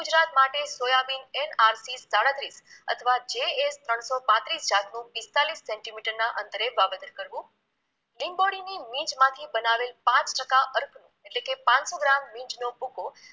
માટે soybean NRP સાડત્રીસ અથવા JL ત્રણસો પાંત્રીસ જાતનું પીસ્તાલીસ સેન્ટીમીટરના અંતરે વાવેતર કરવું, લિંબોળીની લીંંચમાંથી બનાવેલ પાંચ ટકા અર્કનું એટલે કે પાંચસો ગ્રામ લીંંચનો ભૂકો